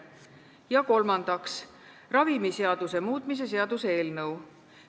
Ja kolmandaks, ravimiseaduse muutmise seaduse eelnõu.